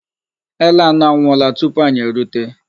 Ele anọ anwụọla tupu anyị erute